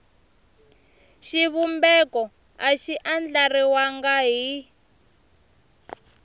xivumbeko a xi andlariwangi hi